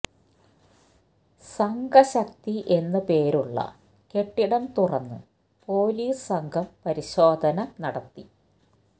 സംഘ ശക്തി എന്ന് പേരുള്ള കെട്ടിടം തുറന്ന് പൊലീസ് സംഘം പരിശോധന നടത്തി